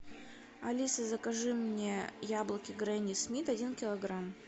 алиса закажи мне яблоки гренни смит один килограмм